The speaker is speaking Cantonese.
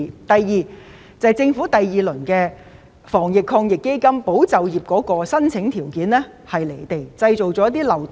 第二，在政府第二輪防疫抗疫基金中，"保就業"計劃的申請條件過於離地、製造漏洞。